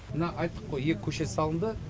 мына айттық қой екі көше салынды